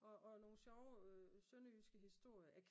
Og og nogle sjove sønderjyske historier